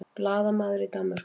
Blaðamaður í Danmörku